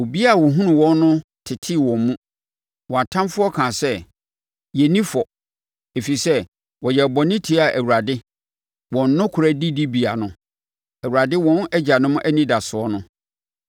Obiara a ɔhunuu wɔn no tetee wɔn mu; wɔn atamfoɔ kaa sɛ, ‘Yɛn nni fɔ, ɛfiri sɛ wɔyɛɛ bɔne tiaa Awurade, wɔn nokorɛ didibea no, Awurade wɔn agyanom anidasoɔ no.’